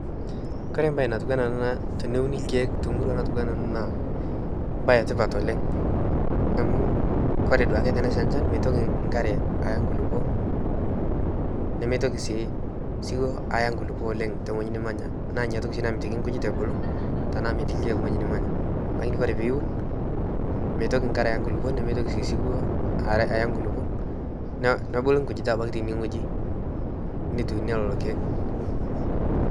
Kore mbaye natiu ana teneuni irkeek te murua natiunaa ana naa embaye etipat oleng amu kore duake tenesha inchan meitoki nkare aya nkulupo nemeitoki sii siwuo aya nkulupo oleng te ngoji nimanya naa ninye oshi namitiki nkujit ebulu tenaa metii irkeek weji nimanya lakini kore piiun, meitoki nkare aya nkulupo, nemeitoki siwuo aya nkulupo, nabulu nkujita aitoki teineweji nituunie lelo ilkeek .